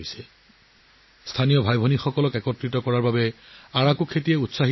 ই কৃষকৰ ভাই ভনীসকলক একেলগে আনিবলৈ কাম কৰিছিল আৰু আৰাকু কফিৰ খেতি কৰিবলৈ উৎসাহিত কৰিছিল